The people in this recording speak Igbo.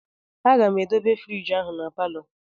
Aga m edobe frigi ahụ na palọ